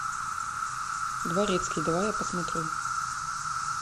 дворецкий давай я посмотрю